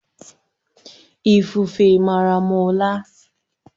Ifufe mara m ụla